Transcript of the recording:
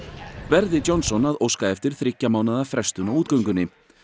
Verði Johnson að óska eftir þriggja mánaða frestun á útgöngunni